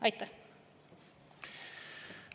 Aitäh!